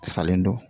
Salen don